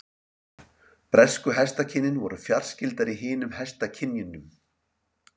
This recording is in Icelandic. Bresku hestakynin voru fjarskyldari hinum hestakynjunum.